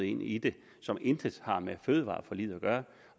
ind i det som intet har med fødevareforliget at gøre